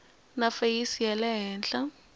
na feyisi ya le henhla